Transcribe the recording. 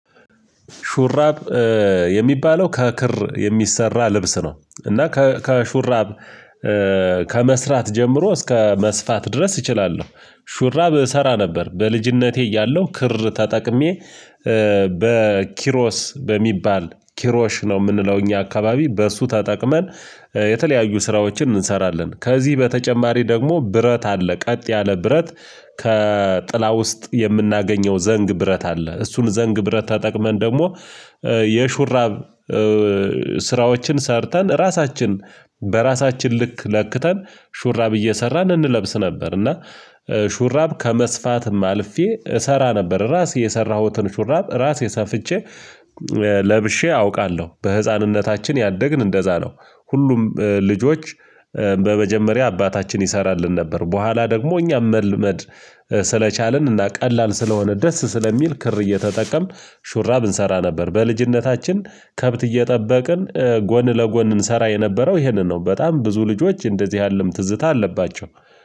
ሹራብ የሚባለው ከክር የሚሰራ ልብስ ነው። እና ከሹራብ ሹራብ የሚባለው ከክር የሚሰራ ልብስ ነው። እና ከሹራብ በኪሮስ በሚባል ኪሮሽ ነው የምንለው እኛ አካባቢ በእሱ ተጠቅመን የተለያዩ ስራዎችን እንሰራለን። ከዚህ በተጨማሪ ደግሞ ብረት አለ ቀጥ ያለ ብረት ከጥላ ውስጥ የምናገኘው ዘንግ ብረት አለ እሱን ዘንግ ብረት ተጠቅመን ደግሞ። የሹራብ ስራዎችን ሰርተን ራሳችን በራሳችን ልክ ለክተን ሹራብ እየሰራን እንለብስ ነበር። እና ሹራብ ከመስፋትም አልፌ እሰራ ነበር ራሴ የሰራሁትን ሹራብ ራሴ ሰፍቼ ለብሼ አውቃለሁ። በህፃንነታችን ያደግን እንደዛ ነው ሁሉም ልጆች በመጀመሪያ አባታችን ይሰራልን ነበር። በኋላ ደግሞ እኛም መልመድ ስለቻልን እና ቀላል ስለሆነ ደስ ስለሚል ክር እየተጠቀምን ሹራብ እንሰራ ነበር። በልጅነታችን ከብት እየጠበቅን ጎን ለጎን እንሰራ የነበረው ይሄንን ነው። በጣም ብዙ ልጆች እንደዚህ ያለም ትዝታ አለባቸው